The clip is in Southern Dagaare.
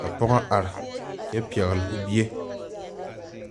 ka pɔgo arẽ kye pɛgli ɔ bie.